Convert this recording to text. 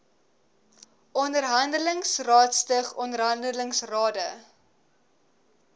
onderhandelingsrade stig onderhandelingsrade